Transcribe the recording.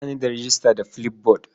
Ba ni da rejista da Flipboard.